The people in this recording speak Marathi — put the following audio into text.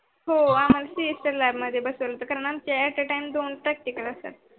हो आम्हाला Semester lab बसवल कारण आमच At a time दोन practical असतात.